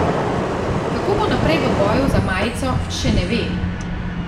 Kako bo naprej v boju za majico, še ne ve.